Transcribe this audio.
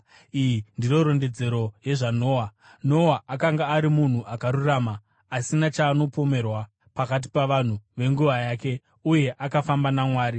Iyi ndiyo rondedzero yezvaNoa. Noa akanga ari munhu akarurama, asina chaanopomerwa pakati pavanhu venguva yake, uye akafamba naMwari.